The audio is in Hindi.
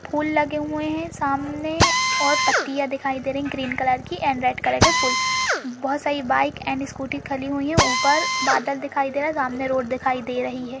फूल लगे हुए हैं सामने और पत्तियां दिखाए दे रही हैं ग्रीन कलर कि एंड रेड कलर के फूल बहुत सारी बाइक एंड स्कूटी खली हुई हैं ऊपर बादल दिखाए दे रहे है सामने रोड दिखाए दे रही है।